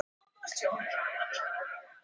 Þú skalt fá jörðina sem ég var búinn að lofa þér.